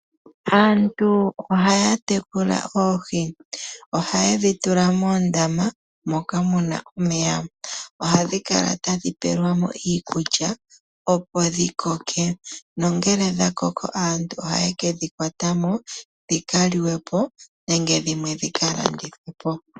Aantu ohaya tekula oohi noha yedhitula moondama dhomeya, noohi ohadhi kala tadhi peelwa mo iikulya moondama, opo dhi koke, na ngele dha koko aantu ohaye ke dhi kwata mo moondama dhikaliwe po na dhimwe tadhi kalandithwa po .